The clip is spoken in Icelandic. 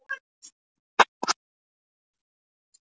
Hún var með freknur á nefinu og út á kinnbeinin.